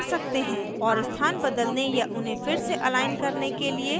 और स्थान बदलने या उन्हें फिर से अलाइन करने के लिए mouse का उपयोग भी कर सकते हैं